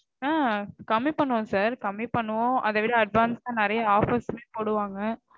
ஆ கம்மி பண்ணுவோம் sir. கம்மி பண்ணுவோம். அதவிட advance ஆ நெறைய offers மே போடுவாங்க.